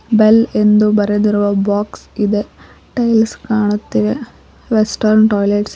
bale ಎಂದು ಬರೆದಿರುವ box ಇದೆ ಟೈಲ್ಸ್ ಕಾಣುತ್ತಿವೆ ರೆಸ್ಟೋರೆಂಟ್ ವೆಸ್ಟೆರ್ನ್ ಟಾಯ್ಲೆಟ್ಸ್ --